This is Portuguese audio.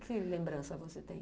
Que lembrança você tem?